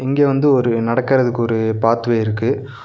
இங்க வந்து ஒரு நடக்கறதுக்கு ஒரு பாத்வே இருக்கு.